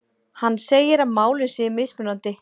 Hann segir að málin séu mismunandi